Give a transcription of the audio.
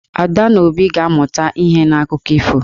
Ada na Obi ga-amụta ihe n'akụkọ ifo.